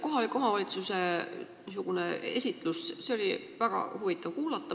Kohaliku omavalitsuse esindaja niisugust esitlust oli väga huvitav kuulata.